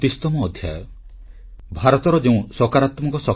• ଯୁବଗୋଷ୍ଠୀ କ୍ରୀଡାକୁ ଜୀବନର ଏକ ଅଂଶବିଶେଷ କରନ୍ତୁ ଶ୍ରୀ ନରେନ୍ଦ୍ର ମୋଦୀ